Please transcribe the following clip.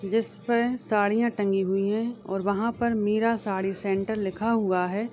जिसपे साड़ियाँ टंगी हुई हैं और वहाँ पर मीरा साडी सेंटर लिखा हुआ है।